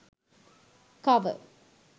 cover